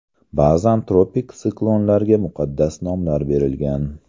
Ba’zan tropik siklonlarga muqaddas nomlar berilgan.